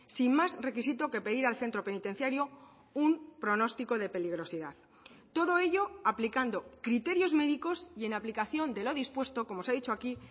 sin más requisito que pedir al centro penitenciario un pronóstico de peligrosidad todo ello aplicando criterios médicos y en aplicación de lo dispuesto como se ha dicho aquí